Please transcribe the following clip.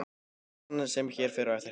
Sagan sem hér fer á eftir heitir